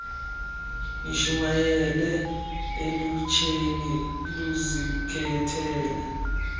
nishumayele elutsheni luzikhethele